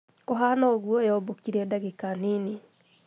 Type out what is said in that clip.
Kuhana ũguo yobũkire dagĩ ka ninũ